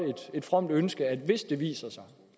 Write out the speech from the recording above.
et fromt ønske hvis det viser sig